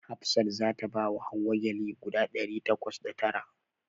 Hafsat za ta bawa Hauwa gyale guda ɗari takwas da tara.